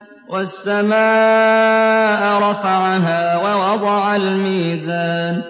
وَالسَّمَاءَ رَفَعَهَا وَوَضَعَ الْمِيزَانَ